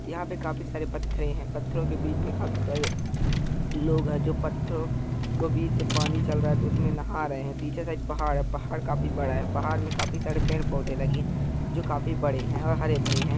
यहाँ पर काफी सारे पत्थरे है पत्थरो के बीच मे काफी सारे लोग है जो पत्थरो को बीच से पानी चल रहा तो उसमे नहा रहे है पीछे साइड पहाड़ है पहाड़ काफी बड़ा है पहाड़ में काफी सारे पेड़ पौधे लगे है जो काफी बड़े है और हरे भरे हैं ।